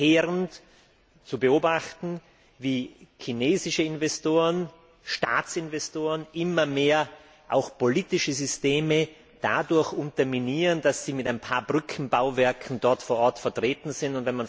Es ist verheerend zu beobachten, wie chinesische Investoren, Staatsinvestoren, immer mehr auch politische Systeme dadurch unterminieren, dass sie vor Ort mit ein paar Brückenbauwerken vertreten sind.